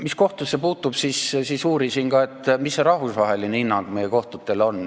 Mis kohtusse puutub, siis ma uurisin ka, milline on rahvusvaheline hinnang meie kohtutele.